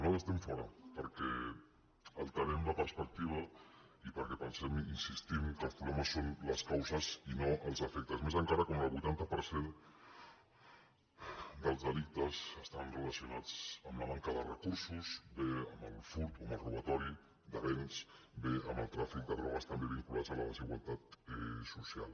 nosaltres estem fora perquè alterem la perspectiva i perquè pensem hi insistim que els problemes són les causes i no els efectes més encara quan el vuitanta per cent dels delictes estan relacionats amb la manca de recursos bé amb el furt o amb el robatori de béns bé amb el tràfic de drogues també vinculats a la desigualtat social